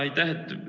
Aitäh!